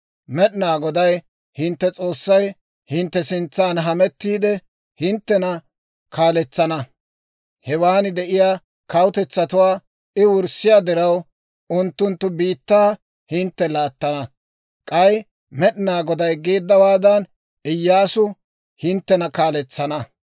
Med'inaa Goday hintte S'oossay hintte sintsan hamettiide hinttena kaaletsana. Hewaan de'iyaa kawutetsatuwaa I wurssiyaa diraw, unttunttu biittaa hintte laattana. K'ay Med'inaa Goday geeddawaadan Iyyaasu hinttena kaaletsana.